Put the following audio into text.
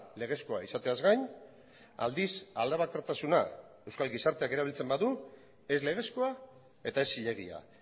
legezkoa izateaz gain aldiz aldebakartasuna euskal gizarteak erabiltzen badu ez legezkoa eta ez zilegia